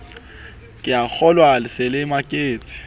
keakgolwa le se le maketse